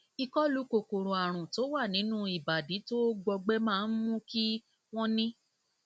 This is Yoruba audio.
ìkọlù kòkòrò àrùn tó wà nínú ìbàdí tó gbọgbẹ máa ń mú kí wọn ní